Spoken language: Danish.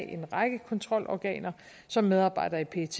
en række kontrolorganer som medarbejdere i pet